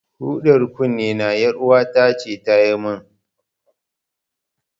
Hudar kunnena, ƴaruwata ce ta yi min.